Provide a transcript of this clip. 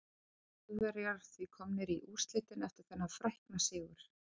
Þjóðverjar því komnir í úrslitin eftir þennan frækna sigur.